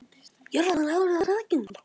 Jörðin var öll þakin þessari einkennilegu möl.